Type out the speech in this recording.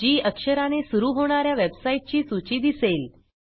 जी अक्षराने सुरू होणा या वेबसाईटची सूची दिसेल